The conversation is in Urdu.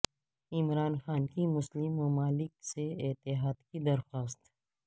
عمران خاں کی مسلم ممالک سے اتحاد کی درخواست